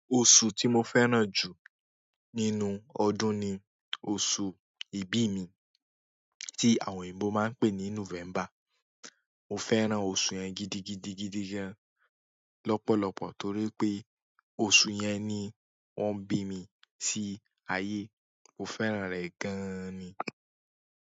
Oṣù tí mo fẹ́ràn jù nínú ọdún ni oṣù ìbí mi tí àwọn òyìnbó máa n pè ní November. Mo fẹ́ràn oṣù yẹn gidigidigidi gan lọ́pọ̀lọ́pọ̀ torí pé oṣù yẹn ni wọ́n bí mi sí ayé. Mo fẹ́ràn rẹ̀ gan ni.